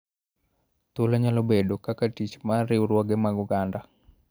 Thuolo nyalo bedo kaka tich mar riwruoge mag oganda